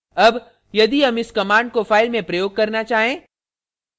अब यदि हम इस command को file में प्रयोग करना चाहें